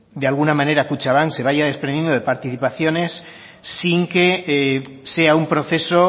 de alguna manera kutxabank se vaya desprendiendo de participaciones sin que sea un proceso